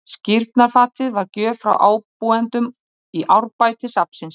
Skírnarfatið var gjöf frá ábúendum í Árbæ til safnsins.